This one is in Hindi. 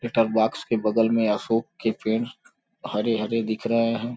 स्टार बक्कस के बगल में अशोक के पेड़ हरे-हरे दिख रहे हैं।